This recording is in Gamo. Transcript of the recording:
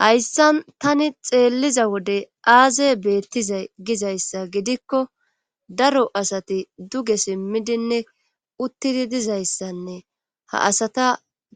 hayssan tani xeelliza wode aaze beettiza gizayssa gidikko daro asati duge simmidinne uttidi dizayssanne ha asata